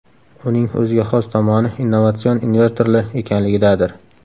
Uning o‘ziga xos tomoni innovatsion invertorli ekanligidadir.